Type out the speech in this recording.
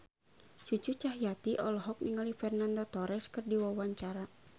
Cucu Cahyati olohok ningali Fernando Torres keur diwawancara